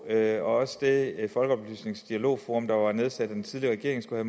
at også det folkeoplysningsdialogforum der var nedsat af den tidligere regering skulle